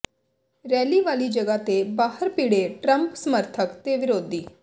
rally ਵਾਲੀ ਜਗ੍ਹਾ ਦੇ ਬਾਹਰ ਭਿੜੇ ਟਰੰਪ ਸਮਰਥਕ ਤੇ ਵਿਰੋਧੀ